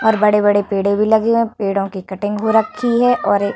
और बड़े-बड़े पेड़े भी लगे हुए पेड़ों की कटिंग भी हो रखी है और एक --